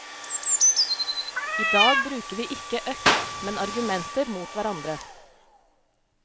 I dag bruker vi ikke øks, men argumenter mot hverandre.